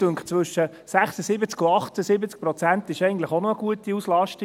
Mich dünkt, zwischen 76 und 78 Prozent sei eigentlich auch eine gute Auslastung.